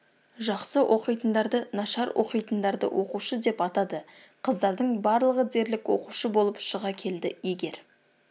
жақсы оқитындарды нашар оқитындарды оқушы деп атады қыздардың барлығы дерлік оқушы болып шыға келді егер